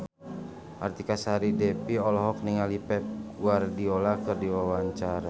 Artika Sari Devi olohok ningali Pep Guardiola keur diwawancara